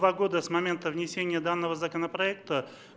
два года с момента внесения данного законопроекта